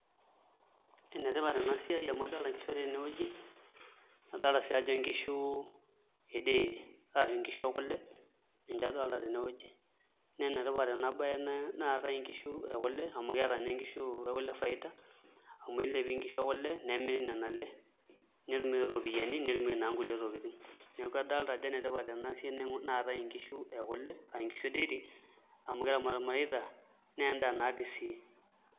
Enetipat ena siai amu adolita nkishu tenewueji nadolta sii ajo nkishu e dairy ashu nkishu e kule ninche adolita tene wueji naa enetipat enabaye naatai nkishu ekule amu keeta ninye nkishu ekule faida amu elepi nkishu e kule nemiri nena ale nitumieki iropiyiani netumieki naa nkulie tokitin, neeku adolita ajo enetipat ena baye naatae nkishu e kule aa nkishu edairy amu keramat irmareita naa endaa naatii sii.